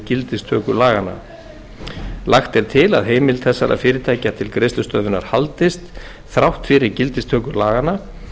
gildistöku laganna lagt er til að heimild þessara fyrirtækja til greiðslustöðvunar haldist þrátt fyrir gildistöku laganna og að